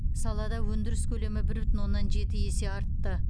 салада өндіріс көлемі бір бүтін оннан жеті есе артты